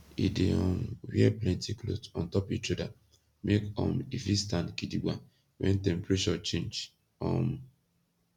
he dey um wear plenti kloth ontop ish oda make um e fit stand gidigba wen temprashur change um